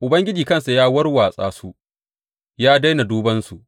Ubangiji kansa ya warwatsa su; ya daina duban su.